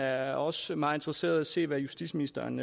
er også meget interesserede i at se hvad justitsministeren